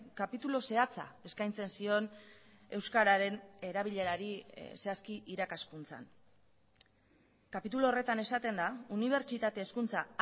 kapitulu zehatza eskaintzen zion euskararen erabilerari zehazki irakaskuntzan kapitulu horretan esaten da unibertsitate hezkuntza